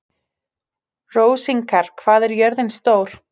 Rósinkar, hvað er jörðin stór?